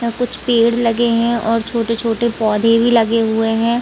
यहाँ कुछ पेड़ लगे है और छोटे-छोटे पौधे भी लगे हुए है।